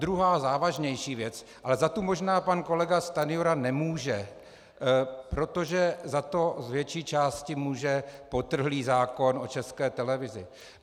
Druhá, závažnější věc, ale za tu možná pan kolega Stanjura nemůže, protože z to z větší části může potrhlý zákon o České televizi.